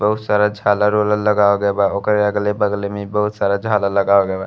बहोत सारा झालर वालर लगाव गए बा। ओकरे अगले-बगले में बहोत सारा झालर लगाव गए बा।